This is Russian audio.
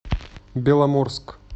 беломорск